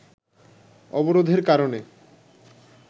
অবরোধের কারণে